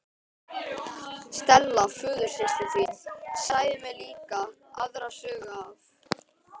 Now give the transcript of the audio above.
Stella föðursystir þín sagði mér líka aðra sögu af